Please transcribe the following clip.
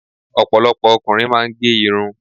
Ọ̀pọ̀lọpọ̀ ọkùnrin máa ń gé irun.